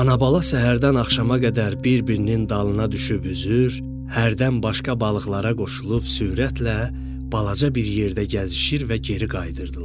Ana-bala səhərdən axşama qədər bir-birinin dalına düşüb üzür, hərdən başqa balıqlara qoşulub sürətlə balaca bir yerdə gəzişir və geri qayıdırdılar.